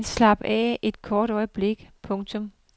Slap helt af et kort øjeblik. punktum